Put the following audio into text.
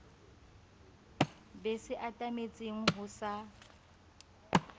be se atametseng ho sa